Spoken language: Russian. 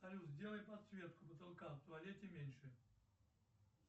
салют сделай подсветку потолка в туалете меньше